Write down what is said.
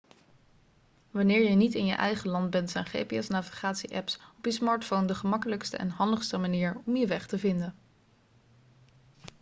wanneer je niet in je eigen land bent zijn gps-navigatie-apps op je smartphone de gemakkelijkste en handigste manier om je weg te vinden